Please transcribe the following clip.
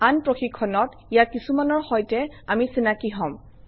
আন প্ৰশিক্ষণত ইয়াৰ কিছুমানৰ সৈতে আমি চিনাকি হম